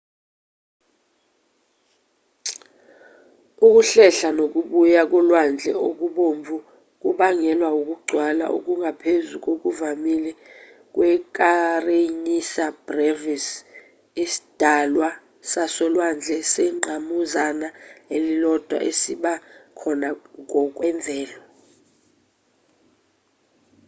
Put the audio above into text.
ukuhlehla nokubuya kolwandle okubomvu kubangelwa ukugcwala okungaphezu kokuvamile kwe-kareniya brevis isidalwa sasolwandle sengqamuzana elilodwa esiba khona ngokwemvelo